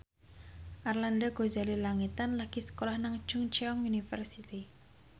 Arlanda Ghazali Langitan lagi sekolah nang Chungceong University